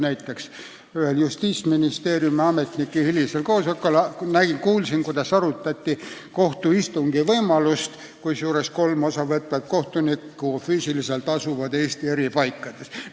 Näiteks kuulsin ühel justiitsametnike hiljutisel koosolekul, et seal arutati võimalust pidada kohtuistungit nii, et kolm sellest osa võtvat kohtunikku asuvad füüsiliselt Eesti eri paikades.